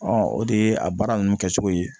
o de ye a baara ninnu kɛcogo ye